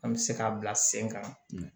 An bɛ se k'a bila sen kan